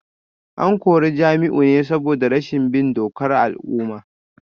An kore Jamiu ne saboda rashin bin dokar al’umma